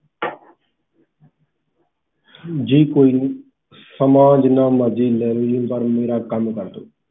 ਜੀ ਕੋਇਨੀ ਸਮਾਂ ਜਿਨ੍ਹਾਂ ਮਰਜੀ ਲੈ ਲੋ ਜੀ ਪਰ ਮੇਰਾ ਕੰਮ ਕਰ ਦੋ